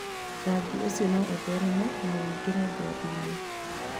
Rangi ũcio no ũthereme na ũingĩre ngothi-inĩ.